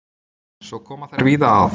Svo koma þær víða að.